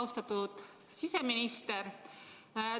Austatud siseminister!